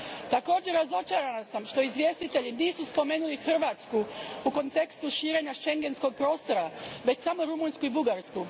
Također, razočarana sam što izvjestitelji nisu spomenuli Hrvatsku u kontekstu širenja šengenskog prostora, već samo Rumunjsku i Bugarsku.